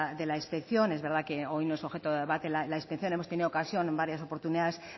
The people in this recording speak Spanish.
de la inspección es verdad que hoy no es objeto de debate la inspección hemos tenido ocasión en varias oportunidades